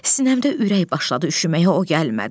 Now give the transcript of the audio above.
Sinəmdə ürək başladı üşüməyə, o gəlmədi.